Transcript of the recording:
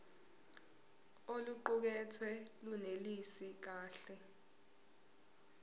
oluqukethwe lunelisi kahle